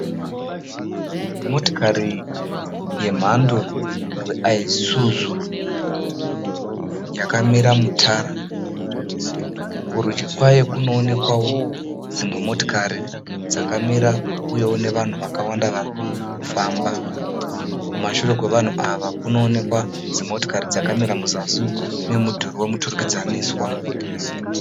Motokari yemhando rwelSuzu yakamira mutara. Kurudyi kwayo kunoonekwawo dzimwe motokari dzakamira uyewo nevanhu vakawanda varikufamba. Kumashure kwevanhu ava kunoonekwa dzimotokari dzakamira muzasi memudhuri womuturukidzaniswa.